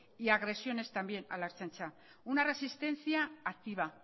y agresiones también a la ertzaintza una resistencia activa